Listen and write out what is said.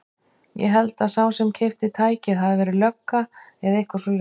Ég held að sá sem keypti tækið hafi verið lögga eða eitthvað svoleiðis.